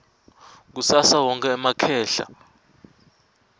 kusasa wonkhe emakhehla